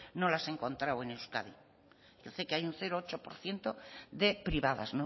no las he encontrado en euskadi dice que hay un ceroocho por ciento de privadas